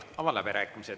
Avan läbirääkimised.